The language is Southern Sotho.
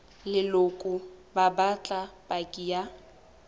leloko ba batla paki ya